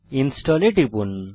install এ টিপুন